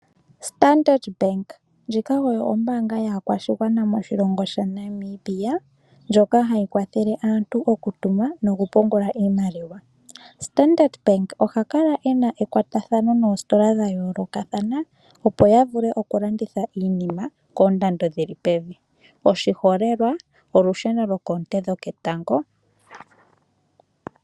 Standard Bank ndjika oyo ombaanga yaakwashigwana moshilongo shaNamibia, ndjoka hayi kwathele aantu oku tuma noku pungula iimaliwa. Standard Bank oha kala e na ekwatathano noositola dha yoolokathana opo ya vule oku landitha iinima koondando dhili pevi oshiholelwa, olusheno lwoonte dhoketango.